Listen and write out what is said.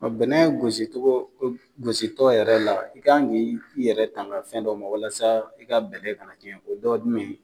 Ɔn bɛnɛn gosi cogo, gosi tɔ yɛrɛ la i kan ka i yɛrɛ tanga fɛn dɔ ma walasa i ka bɛnɛn ka to i bolo , dɔ dun be